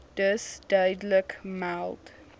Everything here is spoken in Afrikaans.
dus duidelik meld